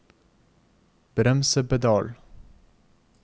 bremsepedal